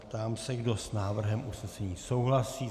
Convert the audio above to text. Ptám se, kdo s návrhem usnesení souhlasí.